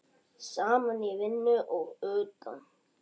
Saman í vinnu og utan.